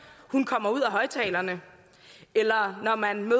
kommer ud af højtalerne eller når man